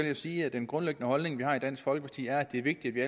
jeg sige at den grundlæggende holdning vi har i dansk folkeparti er at det er vigtigt at